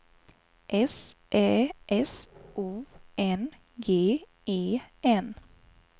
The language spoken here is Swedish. S Ä S O N G E N